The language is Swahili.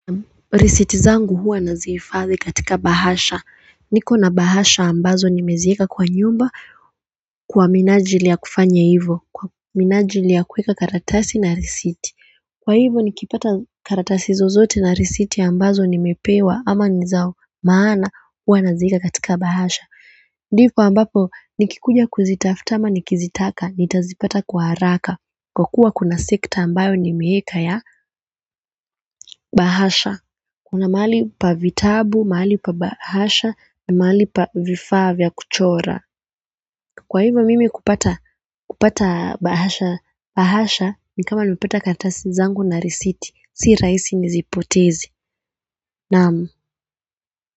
Resiti zangu huwa nazihifadhi katika bahasha. Niko na bahasha ambazo nimeziweka kwa nyumba kwa minajili ya kufanya hivyo kwa minajili ya kuweka karatasi na risiti. Kwa hivyo nikipata karatasi zozote na risiti ambazo nimepewa ama niza maana huwa naziweka katika bahasha ndipo ambapo nikikuja kuzitafuta ama nikizitaka nitazipata kwa haraka kwa kuwa kuna sekta ambayo nimeweka ya bahasha kuna mahali pa vitabu, mahali pa bahasha, na mahali pa vifaa vya kuchora. Kwa hivyo mimi kupata bahasha, ni kama nipata karatasi zangu na risiti. Sio raisi nizipoteze. Naam.